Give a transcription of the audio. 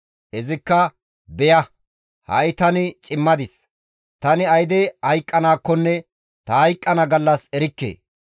Izikka, «Beya! Ha7i tani cimadis; tani ayde hayqqanaakkonne ta hayqqana gallas erikke.